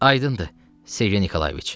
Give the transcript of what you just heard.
Aydındır, Sergey Nikolayeviç.